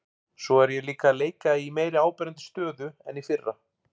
Svo er ég líka að leika í meira áberandi stöðu en í fyrra.